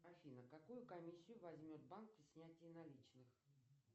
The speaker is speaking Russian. афина какую комиссию возьмет банк при снятии наличных